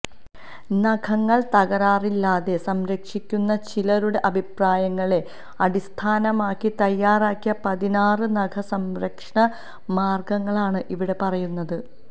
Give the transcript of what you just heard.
നഖങ്ങള് തകരാറില്ലാതെ സംരക്ഷിക്കുന്ന ചിലരുടെ അഭിപ്രായങ്ങളെ അടിസ്ഥാനമാക്കി തയ്യാറാക്കിയ പതിനാറ് നഖ സംരക്ഷണ മാര്ഗ്ഗങ്ങളാണ് ഇവിടെ പറയുന്നത്